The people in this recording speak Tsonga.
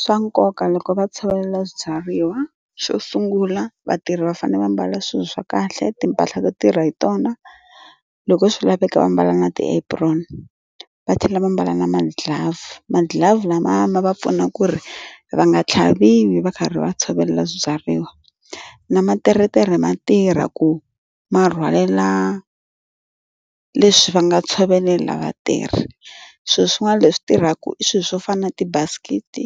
Swa nkoka loko va tshovela swibyariwa. Xo sungula vatirhi va fanele va mbala swilo swa kahle, timpahla to tirha hi tona, loko swi laveka va mbala na ti-apron. Va tlhela va mbala na ma-glove. Ma-glove lamaya ma va pfuna ku ri va nga tlhaviwi va karhi va tshovela swibyariwa. Na materetere ma tirha ku ma rhwalela leswi va nga tshovelela vatirhi. Swilo swin'wana leswi tirhaka i swilo swo fana na tibasikete,